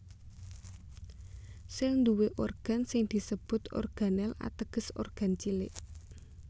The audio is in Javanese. Sèl nduwé organ sing disebut organel ateges organ cilik